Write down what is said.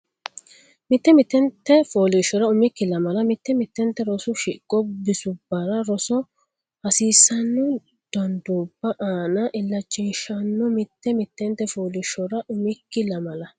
Mitte mittente fooliishshora umikki lamala mitte mittente rosu shiqo bisubbanni rosa hasiissanno danduubba aana illachishshanno Mitte mittente fooliishshora umikki lamala.